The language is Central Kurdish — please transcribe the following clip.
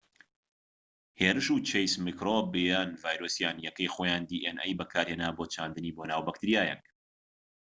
هێرشی و چەیس میکرۆب یان ڤایرۆسیان بەکارهێنا بۆ چاندنی dna یەکەی خۆیان بۆناو بەکتریایەک